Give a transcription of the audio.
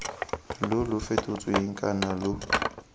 lo lo fetotsweng kana lo